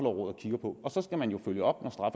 og kigger på og så skal man jo følge op